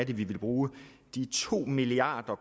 vi vil bruge de to milliarder